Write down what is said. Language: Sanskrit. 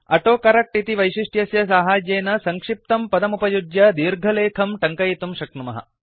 अटो करक्ट इति वैशिष्ट्यस्य साहाय्येन सङ्क्षिप्तं पदमुपयुज्य दीर्घलेखम् टङ्कयितुं शक्नुमः